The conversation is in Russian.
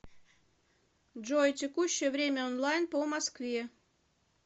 джой текущее время онлайн по москве